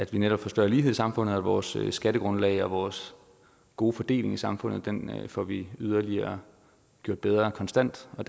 vi netop får større lighed i samfundet og vores skattegrundlag og vores gode fordeling i samfundet får vi yderligere gjort bedre konstant jeg